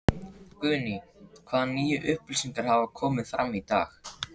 Guðný: Hvaða nýju upplýsingar hafa komið fram í dag?